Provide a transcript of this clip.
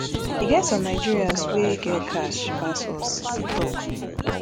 e get some nigerians wwy get cash pass us e tok